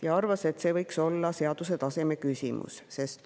Ta arvas, et see võiks olla seaduse tasemel.